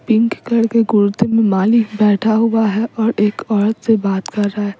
Pink colour के कुर्ते में मालिक बैठा हुआ है और एक औरत से बात कर रहा है।